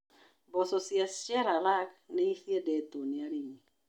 Mboco cia Chelalang nĩ ciendetwo nĩ arĩmi.